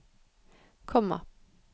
komma